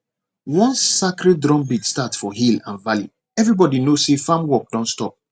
once sacred drumbeat start for hill and valley everybody know say farm work don stop